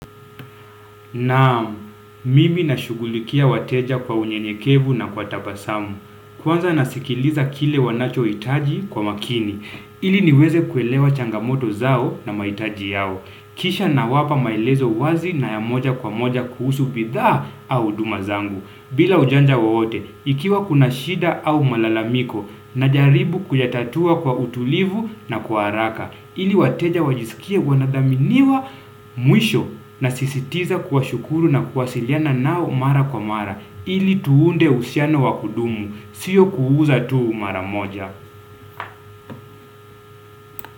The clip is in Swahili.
Naam, mimi nashughulikia wateja kwa unyenyekevu na kwa tabasamu. Kwanza nasikiliza kile wanachohitaji kwa makini. Ili niweze kuelewa changamoto zao na mahitaji yao. Kisha nawapa maelezo wazi na ya moja kwa moja kuhusu bidhaa au huduma zangu. Bila ujanja wowote, ikiwa kuna shida au malalamiko, najaribu kuyatatua kwa utulivu na kwa haraka, ili wateja wajisikia wanadhaminiwa mwisho, nasisitiza kuwashukuru na kuwasiliana nao mara kwa mara, ili tuunde uhusiano wa kudumu, sio kuuza tu mara moja.